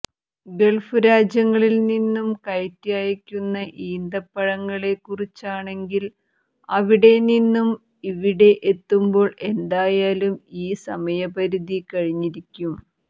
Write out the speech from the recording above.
Gulf രാജ്യങ്ങളിൽനിന്നും കയറ്റി അയയ്ക്കുന്ന ഈന്തപ്പഴങ്ങളെ കുറിച്ചാണെങ്കിൽ അവിടെ നിന്നും ഇവിടെ എത്തുമ്പോൾ എന്തായാലും ഈ സമയപരിധി കഴിഞ്ഞിരിക്കും